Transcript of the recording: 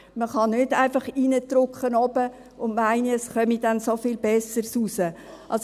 Man kann nicht einfach oben Schulstoff hineindrücken und dann meinen, es komme etwas viel Besseres heraus.